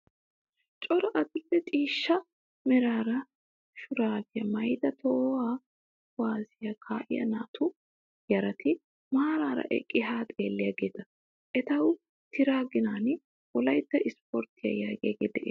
Cora adil'e ciishsha meraa shuraabiyaa maayyida tohuwaa kuwaazziyaa kaa'iyaa naatu yarati maaraara eqqidi haa xelliyaageeta. Etawu tira ginan wolayitta ispporttiyaa yaagiyaagee des.